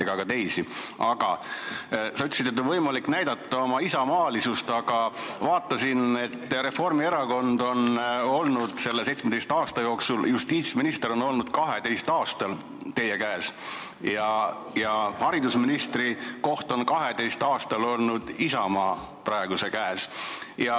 Sa ütlesid, et nüüd on võimalik näidata oma isamaalisust, aga vaatasin, et selle 17 aasta jooksul on Reformierakonna käes justiitsministri koht olnud 12 aastal ja haridusministri koht on 12 aastal olnud praeguse Isamaa käes.